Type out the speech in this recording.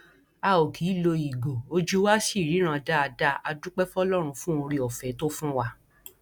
a ó kì í lo ìgò ojú wa ṣì ríran dáadáa a dúpẹ fọlọrun fún oore ọfẹ tó fún wa